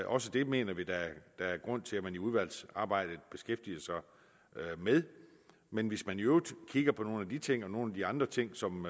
også det mener vi der er er grund til at man i udvalgsarbejdet beskæftiger sig med men hvis man i øvrigt kigger på nogle af de ting og nogle af de andre ting som